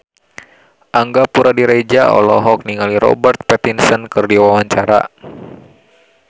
Angga Puradiredja olohok ningali Robert Pattinson keur diwawancara